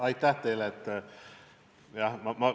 Aitäh teile!